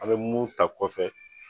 A be mun ta kɔfɛ